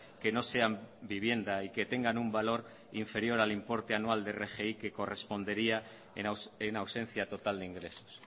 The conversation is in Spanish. que no sean vivienda y que tengan un valor inferior al importe anual de rgi que correspondería en ausencia total de ingresos